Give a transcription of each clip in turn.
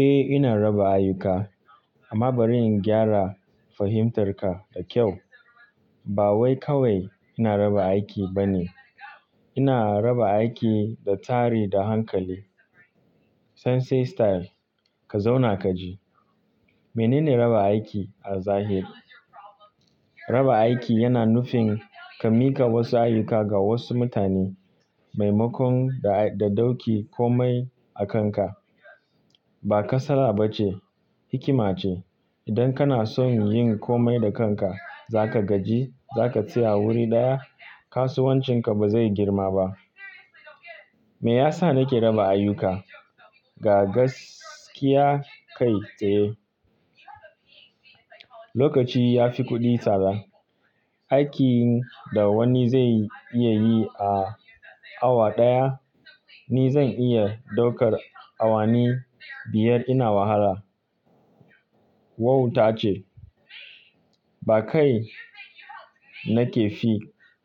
Eh ina raba ayyuka amma bari in gyara fahimtarka da kyau. Ba wai kawai ina raba aiki ba ne. Ina raba aiki da tsari da hankali. Sensei style. Ka zauna ka ji. Menene raba aiki a zahiri? Raba aiki yana nufin ka mika wasu ayyuka ga wasu mutane maimakon da dauki komai a kanka. Ba kasala ba ce, hikima ce. Idan kana son yin komai da kanka, za ka gaji, za ka tsaya wuri ɗaya, kasuwancinka ba zai girma ba. Me yasa nake raba ayuka? Ga gaskiya kai tsaye. Lokaci yafi kuɗi tsada. Aikin da wani zai iya yi a awa ɗaya, ni zan iya ɗaukar awani biyar ina wahala. Wauta ce. Ba kai nakefi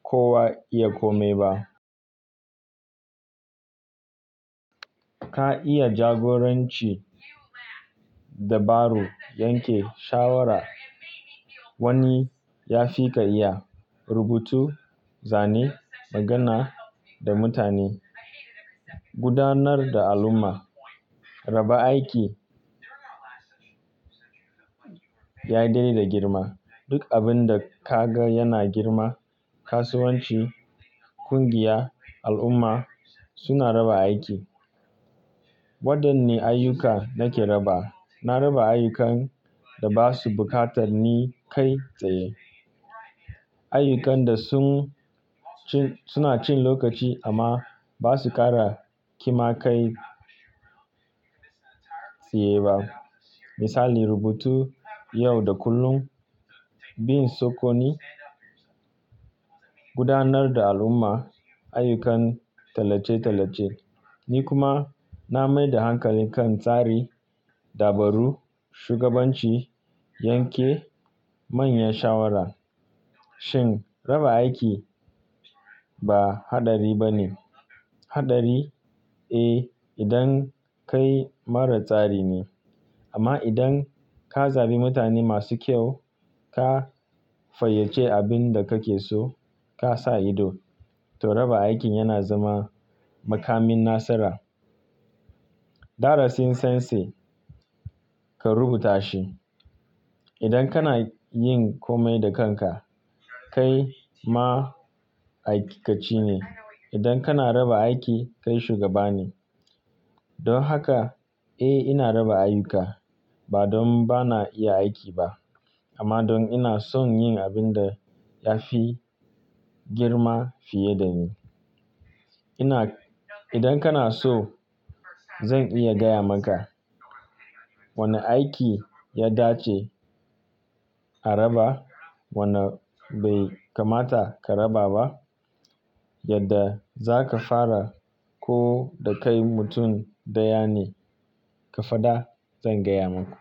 kowa iya komai ba. Ka iya jagoranci, dabaru, yanke shawara. Wani ya fi ka iya rubutu, zane, magana da mutane, gudanar da al'umma. Raba aiki ya de da girma. Duk abin da kaga yana girma, kasuwanci, ƙungiya, al'umma suna raba aiki. Waɗanne ayyuka nake raba? Na raba ayyukan da ba su buƙatar ni kai tsaye. Ayyukan da suna cin lokaci amma ba su ƙara kima kai tsaye ba. Misali rubutu yau da kullum, bin sokoni, gudanar da al'umma, ayyukan tallace-tallace. Ni kuma na mai da hankali kan tsari, dabaru, shugabanci, yanke manyan shawara. Shin raba aiki ba haɗari ba ne? Haɗari? Eh idan kai mara tsari ne. Amma idan ka zabi mutane masu kyau, ka fayyace abin da kake so, ka sa ido, to raba aikin yana zama makamin nasara. Darasin Sensei ka rubuta shi. Idan kana yin komai da kanka, kai ma'aikaci ne. Idan kana raba aiki, kai shugaba ne. Don haka eh ina raba ayuka ba don bana iya aiki ba amma don ina son yin abin da ya fi girma fiye da ni. Idan kana so, zan iya gaya maka wane aiki ya dace a raba, wanne bai kamata ka raba ba. Yadda za ka fara ko da kai mutum ɗaya ne, ka faɗa zan gaya maku.